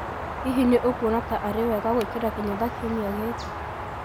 Hihi nĩ ũkuona ta arĩ wega gwĩkĩra kinyatha kiumia gĩkĩ?